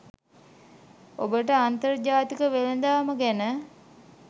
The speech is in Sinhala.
ඔබට අන්තර්ජාතික වෙලදාම ගැන